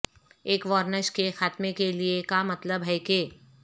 ایک وارنش کے خاتمے کے لئے کا مطلب ہے کہ